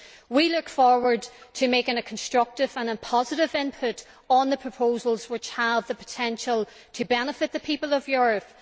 We look forward to making a constructive and positive input on the proposals, which have the potential to benefit the people of Europe.